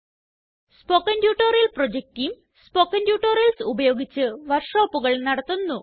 spoken tutorial project team spoken tutorials ഉപയോഗിച്ച് വര്ക്ഷോപ്പുകള് നടത്തുന്നു